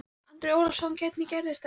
Andri Ólafsson: Hvernig gerðist það?